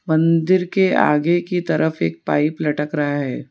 मंदिर के आगे की तरफ एक पाइप लटक रहा है।